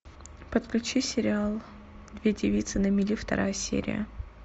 подключи сериал две девицы на мели вторая серия